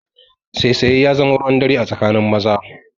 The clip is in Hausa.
Saisaye ya zama ruwan dare a tsakanin maza